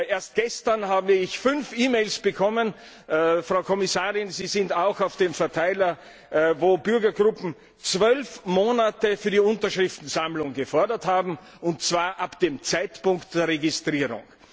Erst gestern habe ich fünf E Mails bekommen Frau Kommissarin, Sie sind auch auf dem Verteiler in denen Bürgergruppen zwölf Monate für die Unterschriftensammlung gefordert haben, und zwar ab dem Zeitpunkt der Registrierung.